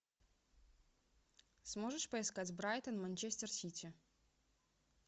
сможешь поискать брайтон манчестер сити